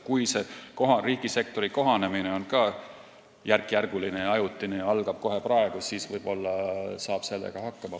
Kui riigisektori kohanemine on ka järkjärguline ja ajutine ning algab kohe praegu, siis võib-olla saab sellega hakkama.